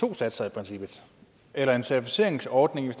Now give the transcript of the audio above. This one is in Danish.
to satser eller en certificeringsordning det